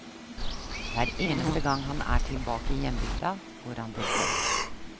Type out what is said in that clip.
Hver eneste gang han er tilbake i hjembygda, går han til fjells.